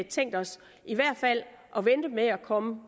tænkt os i hvert fald at vente med at komme